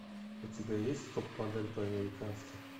у тебя есть топ модель по американски